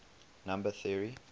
number theory